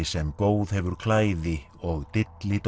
sem góð hefur klæði og